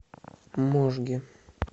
можге